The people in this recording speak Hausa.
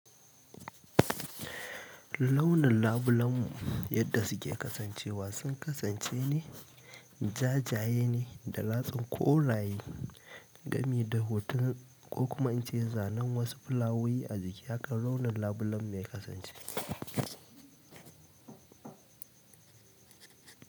Launin labulen mu yadda suke kasancewa sun kasance ne jajaye ne da latsin koraye, gami da hoton ko kuma in ce zanen wasu fulawowi a jiki, hakan launin labulen mu ya kasance.